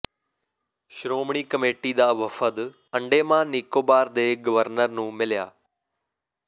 Shiromani committee ਦਾ ਵਫਦ ਅੰਡੇਮਾਨ ਨਿਕੋਬਾਰ ਦੇ ਗਵਰਨਰ ਨੂੰ ਮਿਲਿਆ